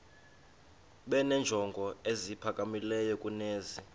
benenjongo eziphakamileyo kunezi